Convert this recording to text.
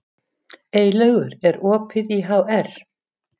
Eylaugur, er opið í HR?